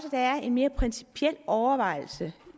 en mere principiel overvejelse